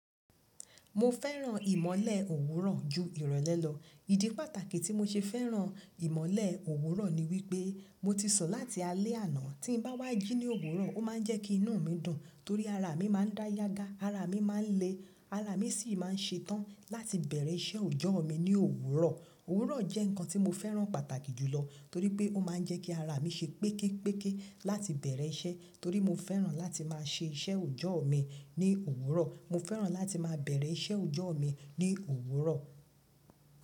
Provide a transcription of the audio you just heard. Mo fẹ́ràn ìmọ́lẹ̀ òwúrọ̀ ju ìrọ̀lẹ́ lọ. Ìdí pàtàkì tí mo ṣe fẹ́ràn ìmọ́lẹ̀, òwúrọ̀ ni wípé, mo ti sùn láti alẹ́ àná. Tí n bá wá jí ní òwúrọ̀, ó ma ń jẹ́ kí inú mi dùn torí ara mi máa ń dá yágà, ara mi máa ń le, ara mi sì máa ń ṣe tán láti bẹ̀rẹ̀ iṣẹ́ ọjọ́ mi ní òwúrọ̀. Òwúrọ̀ jẹ́ nǹkan tí mo fẹ́ràn pàtàkì jù lọ torí pé ó máa ń jẹ́ kí ara mi ṣe péképéké láti bẹ̀rẹ̀ iṣẹ́. Torí mo fẹ́ràn láti máa ṣe iṣẹ́ ọjọ́ mi ní òwúrọ̀. Mo fẹ́ràn láti máa bẹ̀rẹ̀ iṣẹ́ ọjọ́ mi ní òwúrọ̀.